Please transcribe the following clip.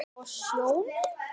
Og sjónum.